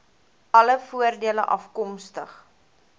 alle voordele afkomstig